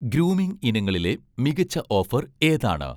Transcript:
grooming ഇനങ്ങളിലെ മികച്ച offer ഏതാണ്